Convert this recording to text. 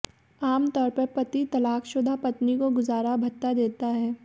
आम तौर पर पति तलाकशुदा पत्नी को गुजारा भत्ता देता है